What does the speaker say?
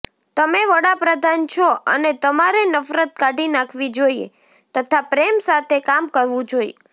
તમે વડાપ્રધાન છો અને તમારે નફરત કાઢી નાખવી જોઇએ તથા પ્રેમ સાથે કામ કરવું જોઇએ